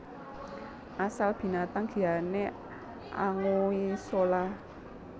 Asal Binatang Giane Anguissola